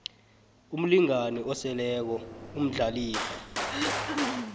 umlingani oseleko umdlalifa